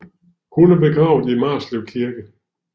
Hun er begravet i Marslev Kirke